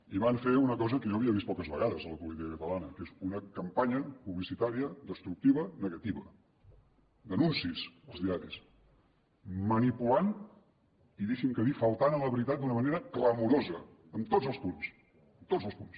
i van fer una cosa que jo havia vist poques vegades a la política catalana que és una campanya publicitària destructiva negativa d’anuncis als diaris manipulant i deixi’m que ho digui faltant a la veritat d’una manera clamorosa en tots els punts en tots els punts